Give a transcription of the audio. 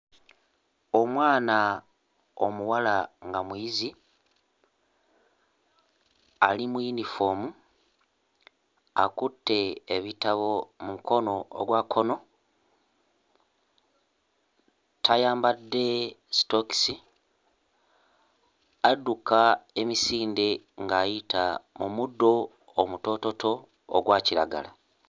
Omwana omuwala nga muyizi ali mu yinifoomu akutte ebitabo mu mukono ogwa kkono, tayambadde sitokisi, adduka emisinde ng'ayita mu muddo omutoototo ogwa kiragala.